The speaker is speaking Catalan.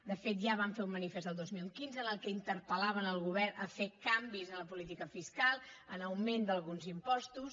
de fet ja van fer un manifest el dos mil quinze en què interpel·laven el govern a fer canvis en la política fiscal en l’augment d’alguns impostos